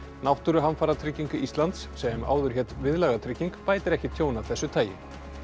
náttúruhamfaratrygging Íslands sem áður hét Viðlagatrygging bætir ekki tjón af þessu tagi